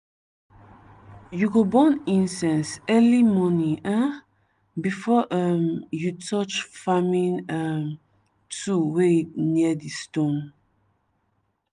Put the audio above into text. you go burn incense early morning um before um you touch farming um tool wey near di stone.